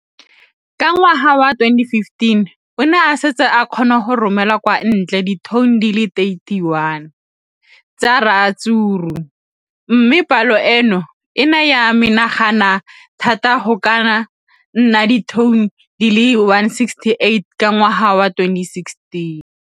Ka ngwaga wa 2015, o ne a setse a kgona go romela kwa ntle ditone di le 31 tsa ratsuru mme palo eno e ne ya menagana thata go ka nna ditone di le 168 ka ngwaga wa 2016.